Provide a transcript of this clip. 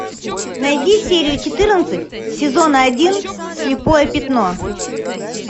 найди серию четырнадцать сезона один слепое пятно